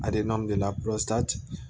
gɛlɛya